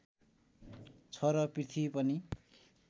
छ र पृथ्वी पनि